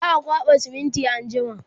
za'a kwaɓa siminti anjima